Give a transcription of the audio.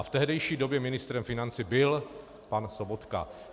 A v tehdejší době ministrem financí byl pan Sobotka.